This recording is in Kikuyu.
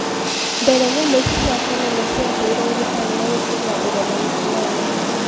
Mbere nyamu ici cia konono ciaheirwo urutani wa gũkorwo na ureganu fulani